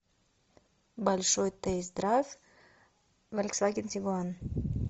большой тест драйв фольксваген тигуан